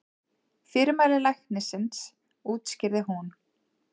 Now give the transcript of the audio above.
Fyrirmæli læknisins útskýrði hún.